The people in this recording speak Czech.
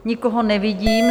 Nikoho nevidím.